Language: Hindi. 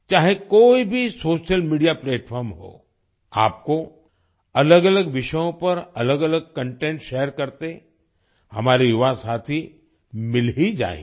चाहे कोई भी सोशल मीडिया प्लैटफार्म हो आपको अलगअलग विषयों पर अलगअलग कंटेंट शेयर करते हमारे युवा साथी मिल ही जाएंगे